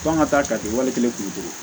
F'an ka taa ka di wali kelen